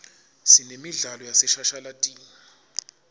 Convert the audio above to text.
sinemidlalo yaseshashalatini